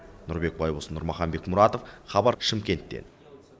нұрбек байбосын нұрмахан бекмұратов хабар шымкенттен